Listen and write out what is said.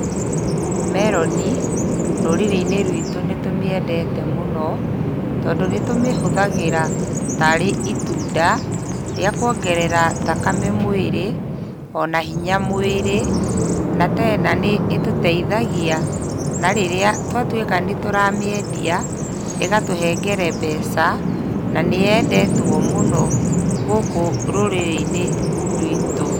Meroni rũrĩrĩ-inĩ rwitũ nĩ tũmĩendete mũno tondũ nĩ tũmĩhũthagĩra tarĩ itunda rĩa kũongerera thakame mwĩrĩ, ona hinya mwĩrĩ. Na tena nĩ ĩtũteithagia na rĩrĩa twatuĩka nĩ tũramĩendia, ĩgatũhengere mbeca na nĩyendetwo mũno gũkũ rũrĩrĩ-inĩ rwitũ.